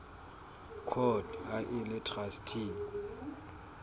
court ha e le traste